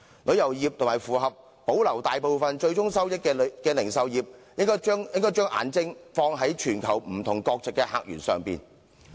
旅遊業和保留大部分最終收益的零售業應該放眼於全球不同國籍的客源。